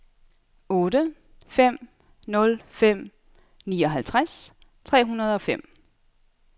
otte fem nul fem nioghalvtreds tre hundrede og fem